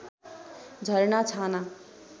झरना छाना